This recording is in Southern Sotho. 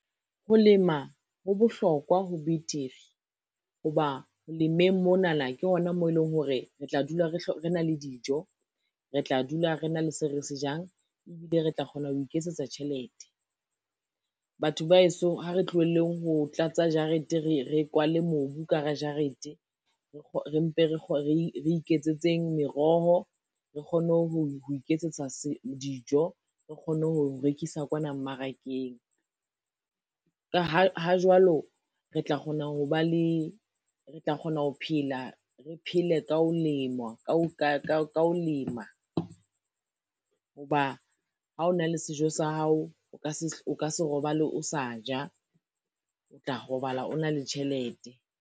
Ho lema ho bohlokwa ho betere, ho ba ho lemeng monana ke hona moo eleng hore re tla dula re na le dijo, re tla dula re na le seo re se jang, ebile re tla kgona ho iketsetsa tjhelete. Batho ba hesong ha re tlohelleng ho tlatsa jarete, re kwale mobu ka hara jarete, re mpe re iketsetseng meroho, re kgone ho iketsetsa dijo, re kgone ho rekisa kwana mmarakeng. Ka ha jwalo, re tla re tla kgona ho phela, re phele ka ho ka ho lema ho ba ha o na le sejo sa hao, o ka se o ka se robale o sa ja, o tla robala o na le tjhelete.